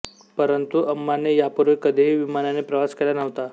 परंतु अम्माने यापूर्वी कधीही विमानाने प्रवास केला नव्हता